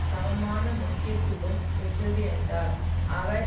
சமமான முக்கியத்துவம் பெற்றது என்றார் அவர்